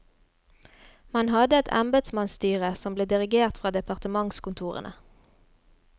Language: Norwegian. Man hadde et embetsmannsstyre som ble dirigert fra departementskontorene.